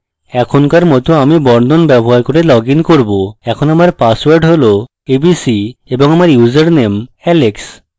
এখনকার my my বর্ণন ব্যবহার করে লগইন করব এখন আমার পাসওয়ার্ড abc এবং আমার ইউসারনেম alex